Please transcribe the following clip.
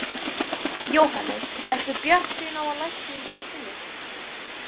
Jóhannes: Ertu bjartsýnn á að lækning finnist?